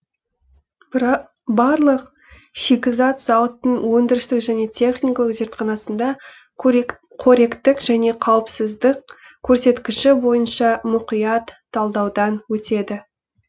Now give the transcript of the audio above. барлық шикізат зауыттың өндірістік және техникалық зертханасында қоректік және қауіпсіздік көрсеткіші бойынша мұқият талдаудан өтеді